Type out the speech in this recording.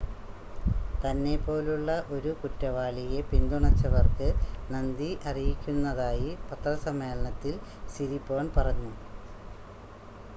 തന്നെ പോലുള്ള ഒരു കുറ്റവാളിയെ പിന്തുണച്ചവർക്ക് നന്ദി അറിയിക്കുന്നതായി പത്രസമ്മേളനത്തിൽ സിരിപോൺ പറഞ്ഞു